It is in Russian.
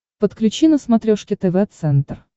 подключи на смотрешке тв центр